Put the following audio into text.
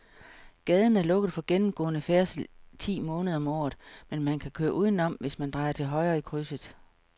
Gaden er lukket for gennemgående færdsel ti måneder om året, men man kan køre udenom, hvis man drejer til højre i krydset.